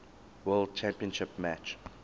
world championship match